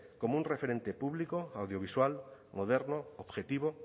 como un referente público audiovisual moderno objetivo